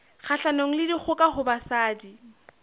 kgahlanong le dikgoka ho basadi